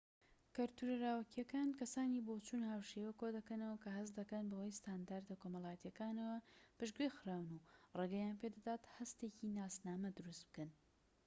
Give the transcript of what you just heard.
کەلتورە لاوەکیەکان کەسانی بۆچوون-هاوشێوە کۆ دەکەنەوە کە هەست دەکەن بە هۆی ستاندەرە کۆمەڵایەتیەکانەوە پشتگوێ خراون و ڕێگەیان پێدەدات هەستێکی ناسنامە دروست بکەن